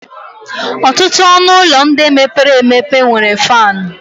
Ọtụtụ ọnụ ụlọ ndị mepere emepe nwere fan.